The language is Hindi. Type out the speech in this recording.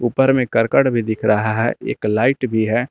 ऊपर में करकट भी दिख रहा है एक लाइट भी है।